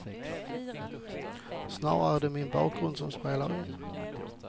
Snarare är det min bakgrund som spelar in.